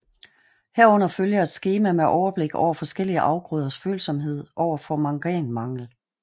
Herunder følger et skema med overblik over forskellige afgrøders følsomhed over for manganmangel